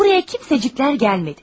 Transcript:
Buraya kimsəciklər gəlmədi.